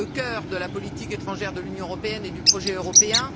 C'est le cœur de la politique étrangère de l'Union européenne et du projet européen.